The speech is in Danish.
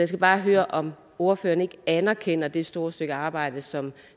skal bare høre om ordføreren ikke anerkender det store stykke arbejde som